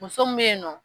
Muso min bɛ yen nɔ